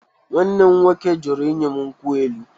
Nwanne m nwoke jụrụ inye m nkwụ elụ